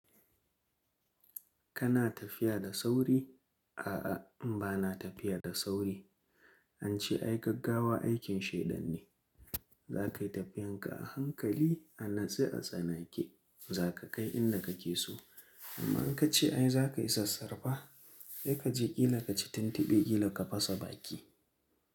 Kana tafiya da sauri? A'a bana tafiya da sauri. An ce ai gaggawa aikin shaidan ne. Za ka yi tafiyan ka a hankali, a natse a tsanake. Za ka kai inda ka ke so. Amma in ka ce ai za ka yi sassarfa, sai ka je ƙila ka ci tuntube, ƙila ka fasa baki.